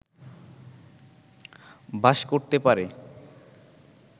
বাস করতে পারে